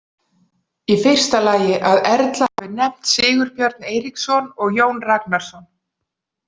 Í fyrsta lagi að Erla hafi nefnt Sigurbjörn Eiríksson og Jón Ragnarsson.